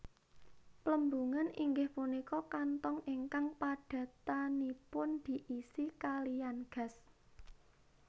Plembungan inggih punika kantong ingkang padatanipun diisi kaliyan gas